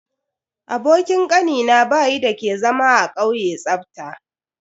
Abokin Kanina bayi dake zama a kauye tsafta.